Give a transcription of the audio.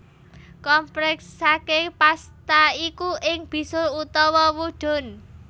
Kompresaké pasta iku ing bisul utawa wudun